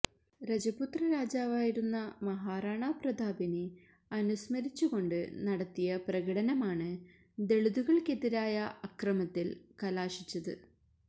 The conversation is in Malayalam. രജപുത്ര രാജാവായിരുന്ന മഹാറാണ പ്രതാപിനെ അനുസ്മരിച്ചുകൊണ്ട് നടത്തിയ പ്രകടനമാണ് ദളിതുകള്ക്കെതിരായ അക്രമത്തില് കലാശിച്ചത്